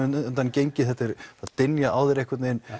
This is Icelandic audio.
undan gengið þetta er að dynja á þér einhvern veginn